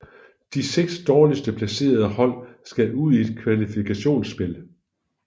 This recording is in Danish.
De seks dårligst placerede hold skal ud i et kvalifikationsspil